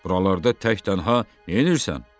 Buralarda tək-tənha neynirsən?